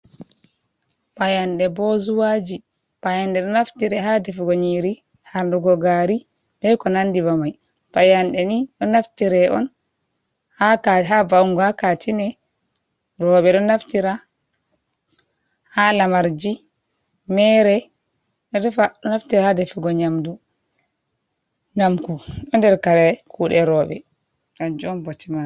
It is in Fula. Payanɗe boozuwaaji, payanɗe ɗo naftiree haa defugo nyiiri, harnugo gaari, bee ko nandi bee mai. payanɗe ni haa va''ingo haa kaatine, rewɓe ɗon aftira haa lamarji feere ɗo naftira haa defugo nyamdu koo ɗo nder kare kuuɗe rowɓekanjum on bote maajum.